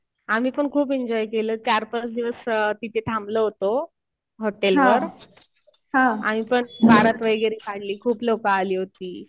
आम्ही पण खूप एन्जॉय केलं. चार-पाच दिवस तिथे थांबलो होतो हॉटेलवर आणि परत बारात वगैरे काढली. खूप लोकं आली होती.